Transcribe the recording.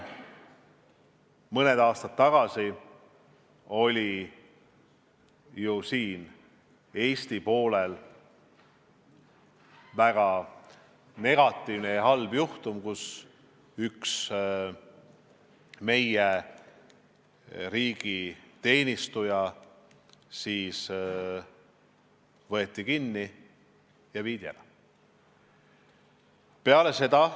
Mõni aasta tagasi oli ju Eesti poolel väga negatiivne juhtum, kus üks meie riigi teenistuja võeti kinni ja viidi ära.